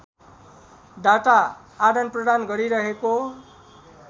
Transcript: data आदानप्रदान गरिरहेको